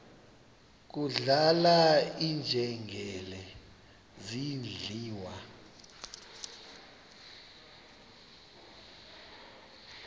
kudlala iinjengele zidliwa